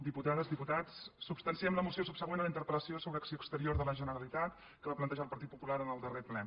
diputades diputats substanciem la moció subsegüent a la interpel·lació sobre acció exterior de la generalitat que va plantejar el partit popular en el darrer ple